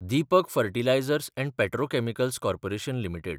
Deepak fertilisers and petrochemicals corporation limited